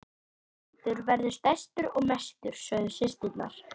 Okkar lundur verður stærstur og mestur, sögðu systurnar.